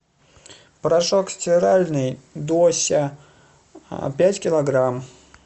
порошок стиральный дося пять килограмм